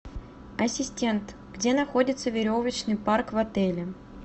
ассистент где находится веревочный парк в отеле